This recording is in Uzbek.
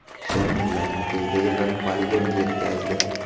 So‘ng, ularni tezda yig‘ib, poligonga yetkazdi.